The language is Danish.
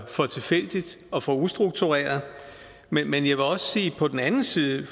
for tilfældigt og for ustruktureret men vil jeg også sige på den anden side